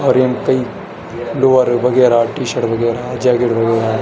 और यम कई लोअर वगेरा टी-शर्ट वगेरा जैकेट वगेरा --